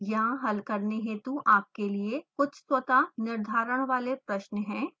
यहाँ हल करने हेतु आपके लिए कुछ स्वतः निर्धारण वाले प्रश्न हैं